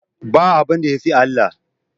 Ba abinda yafi Allah